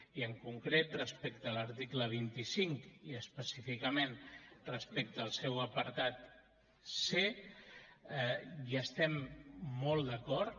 i en concret respecte a l’article vint cinc i específicament respecte al seu apartat c hi estem molt d’acord